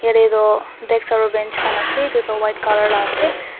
tetoh desk aro bench khan ase edu tu white colour laase.